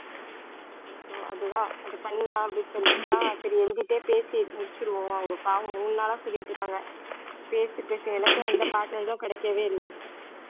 இப்போ அதுதான் அதை பண்ணலாம் அப்படின்னு சொல்லிட்டுதான் சரி எழுதிட்டே பேசி முடிச்சிருவோம் அவங்க பாவம் மூணு நாளா சொல்லிட்டு இருக்காங்க பேசு பேசுனு எனக்கும் எந்த partners ம் கிடைக்கவே இல்லை